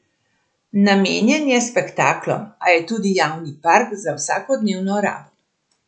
Namenjen je spektaklom, a je tudi javni park za vsakodnevno rabo.